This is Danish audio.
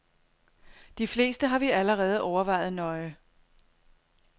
De fleste har vi allerede overvejet nøje.